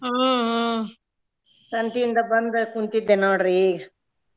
ಹ್ಮ್ ಹ್ಮ್ ಸಂತಿಯಿಂದ ಬಂದ ಕುಂತಿದ್ದೆ ನೋಡ್ರಿ ಈಗ.